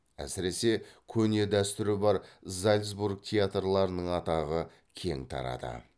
әсіресе көне дәстүрі бар зальцбург театрларының атағы кең тарады